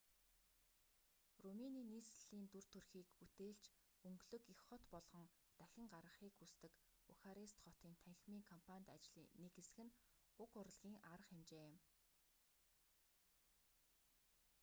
румыны нийслэлийн дүр төрхийг бүтээлч өнгөлөг их хот болгон дахин гаргахыг хүсдэг бухарест хотын танхимын кампанит ажлын нэг хэсэг нь уг урлагийн арга хэмжээ юм